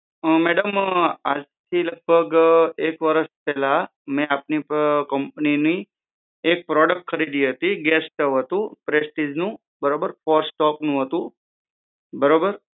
હ મેડમ આજ થી લગભગ એક વર્ષ પહેલાં મે આપની કંપનીની એક પ્રોડક્ટ ખરીદી હતી ગેસ સ્ટવ હતું પ્રેસ્ટીજનું બરોબર ક્રોસ્ટકનું હતું બરોબર